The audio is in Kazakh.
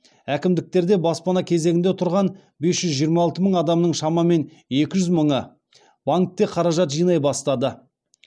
әкімдіктерде баспана кезегінде тұрған бес жүз жиырма алты мың адамның шамамен екі жүз мыңы банкте қаражат жинай бастады